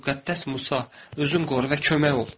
Müqəddəs Musa, özünü qoru və kömək ol.